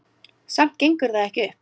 Samt gengur það ekki upp.